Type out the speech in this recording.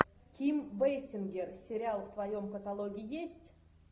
ким бейсингер сериал в твоем каталоге есть